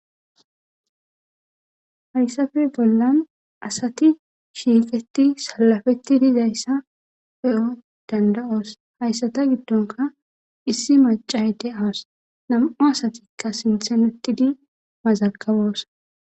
Hayssappe bollan assathi shiqithi sallapetidi dizayssa beo' dandao'ss. Haysata gidonkka issi macoya dawuss nammu' assathikka sinthan uttidi mazagabosona.